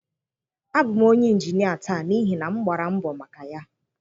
Abụ m onye injinia taa n'ihi na m gbara mbọ maka ya